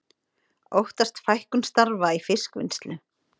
Óttast fækkun starfa í fiskvinnslu